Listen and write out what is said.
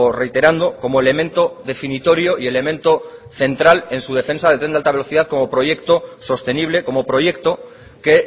reiterando como elemento definitorio y elemento central en su defensa del tren de alta velocidad como proyecto sostenible como proyecto que